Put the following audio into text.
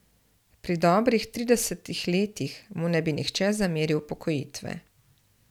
Pri dobrih tridesetih letih mu ne bi nihče zameril upokojitve.